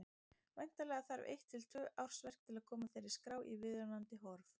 Væntanlega þarf eitt til tvö ársverk til að koma þeirri skrá í viðunandi horf.